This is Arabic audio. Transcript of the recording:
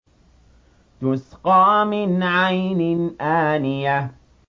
تُسْقَىٰ مِنْ عَيْنٍ آنِيَةٍ